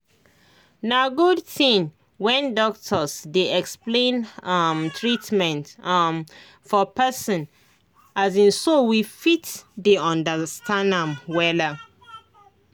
na good thing when doctors dey explain um treatment um for person um so we fit dey understand am wella